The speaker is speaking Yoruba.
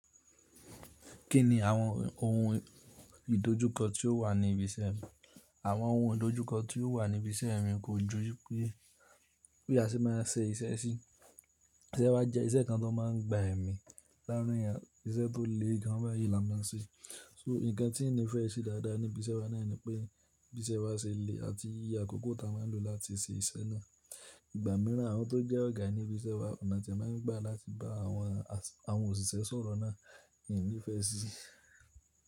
Kí ni àwọn ohun ìdojúkọ tí ó wà ní ibi iṣẹ́ rẹ? Àwọn ohun ìdojúkọ tí ó wà ní ibi iṣẹ́ mi kójú wípé, pé bi a se máa ń ṣe iṣẹ́ sí, iṣẹ́ wá jẹ iṣẹ́ kan tó máa ń gba ẹ̀mí láàrin yẹn, iṣẹ́ tó le gan báyìí là ń máa ń ṣe. So nǹkan tí n nífẹ̀ẹ́ ìṣe dáadáa ní ibi iṣẹ́ wa náà ni pé ibi iṣẹ́ wá ṣe le àti iye àkókò tá a máa ń lò láti ṣe iṣẹ́ náà. Ìgbà míràn àwọn tó jẹ́ ọ̀gá ní ibi iṣẹ́ wa ọ̀nà tí wọ́n máa ń gbà láti bá àwọn, àwọn òṣìṣẹ́ sọ̀rọ̀ náà n nífẹ̀ẹ́ sí.